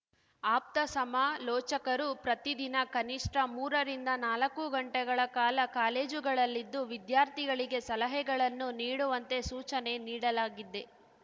ಆಪ್ತ ಸಮಾಲೋಚಕರು ಪ್ರತಿ ದಿನ ಕನಿಷ್ಠ ಮೂರರಿಂದ ನಾಲಕ್ಕು ಗಂಟೆಗಳ ಕಾಲ ಕಾಲೇಜುಗಳಲ್ಲಿದ್ದು ವಿದ್ಯಾರ್ಥಿಗಳಿಗೆ ಸಲಹೆಗಳನ್ನು ನೀಡುವಂತೆ ಸೂಚನೆ ನೀಡಲಾಗಿದೆ